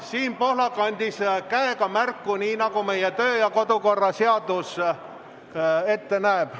Siim Pohlak andis käega märku, nii nagu meie kodu‑ ja töökorra seadus ette näeb.